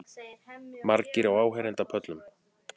Margir á áheyrendapöllum